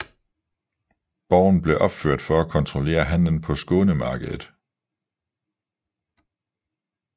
Borgen blev opført for at kontrollere handelen på Skånemarkedet